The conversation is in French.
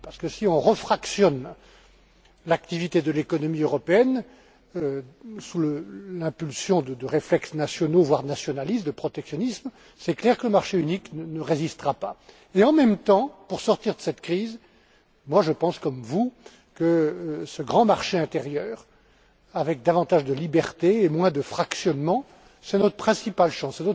Parce que si on refractionne l'activité de l'économie européenne, sous l'impulsion de réflexes nationaux, voire nationalistes, du protectionnisme, c'est clair que le marché unique ne résistera pas. Mais en même temps, pour sortir de cette crise, je pense comme vous que ce grand marché intérieur, avec davantage de libertés et moins de fractionnement, c'est notre principale chance.